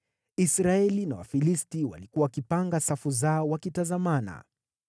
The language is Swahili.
Israeli na Wafilisti walikuwa wakipanga safu zao wakitazamana.